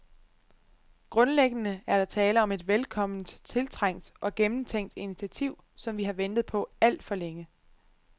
Grundlæggende er der tale om et velkomment, tiltrængt og gennemtænkt initiativ, som vi har ventet på alt for længe.